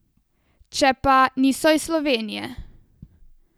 Če pa, niso iz Slovenije.